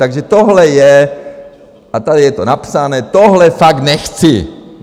Takže tohle je - a tady je to napsané - tohle fakt nechci!